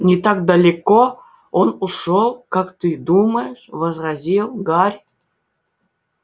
не так далеко он ушёл как ты думаешь возразил гарри